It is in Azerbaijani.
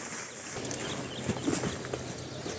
Neyd ata?